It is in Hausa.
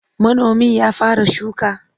Manomin ya fara shuka?